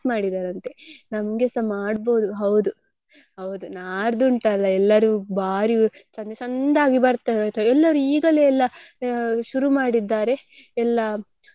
ಮಾಡಿದ್ದಾರಂತೆ ನಮ್ಗೆಸ ಮಾಡ್ಬೋದು ಹೌದು ಹೌದು ನಾಡ್ದು ಉಂಟಲ್ಲ ಎಲ್ಲರೂ ಭಾರಿ ಚಂದ ಚಂದ ಆಗಿ ಬರ್ತೇವೆ ಆಯ್ತಾ ಎಲ್ಲರೂ ಈಗಲೇ ಎಲ್ಲ ಶುರು ಮಾಡಿದ್ದಾರೆ ಎಲ್ಲಾ.